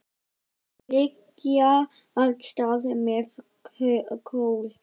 Þau leggja af stað með Kol.